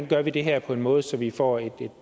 gør det her på en måde så vi får et